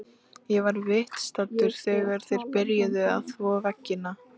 Ég var viðstaddur þegar þeir byrjuðu að þvo veggina.